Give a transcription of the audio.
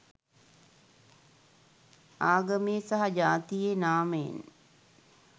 ආගමේ සහ ජාතියේ නාමයෙන්